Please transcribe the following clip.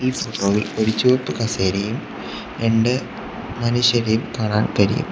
ഈ സ്റ്റാളിൽ ഒരു ചുവപ്പ് കസേരയും രണ്ട് മനുഷ്യരെയും കാണാൻ കഴിയും.